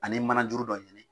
Ani manajuru dɔ ɲini,